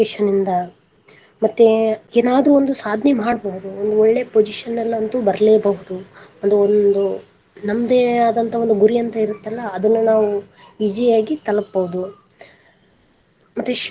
ಇಂದ ಮತ್ತೆ ಏನಾದ್ರು ಒಂದು ಸಾಧನೆ ಮಾಡಬಹುದು ಒಂದು ಒಳ್ಳೆ position ಲ ಅಂತು ಬರ್ಲೆಬಹುದು ಒಂದು ನಮ್ಮದೇ ಆದಂತ ಒಂದು ಗುರಿ ಅಂತ ಇರತಲ್ಲಾ ಅದನ್ನ ನಾವು easy ಆಗಿ ತಲಪಬಹುದು ಮತ್ತೆ ಶಿಕ್ಷಣ.